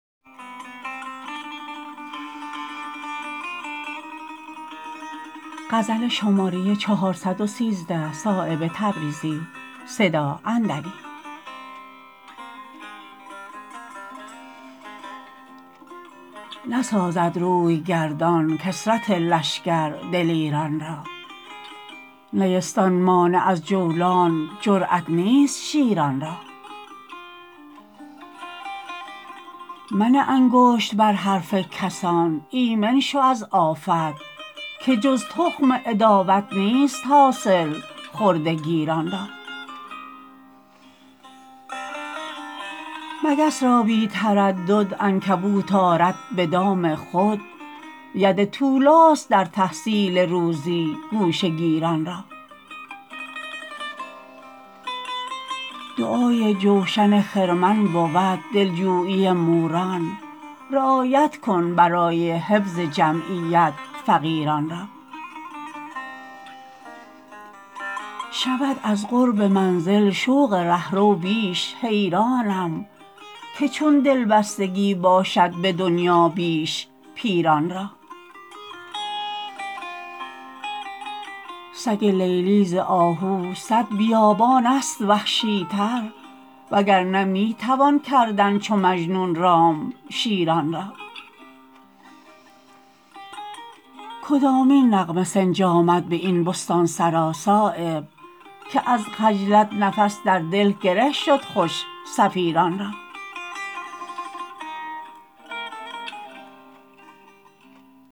نسازد رویگردان کثرت لشکر دلیران را نیستان مانع از جولان جرأت نیست شیران را منه انگشت بر حرف کسان ایمن شو از آفت که جز تخم عداوت نیست حاصل خرده گیران را مگس را بی تردد عنکبوت آرد به دام خود ید طولاست در تحصیل روزی گوشه گیران را دعای جوشن خرمن بود دلجویی موران رعایت کن برای حفظ جمعیت فقیران را شود از قرب منزل شوق رهرو بیش حیرانم که چون دلبستگی باشد به دنیا بیش پیران را سگ لیلی ز آهو صد بیابان است وحشی تر وگرنه می توان کردن چو مجنون رام شیران را کدامین نغمه سنج آمد به این بستانسرا صایب که از خجلت نفس در دل گره شد خوش صفیران را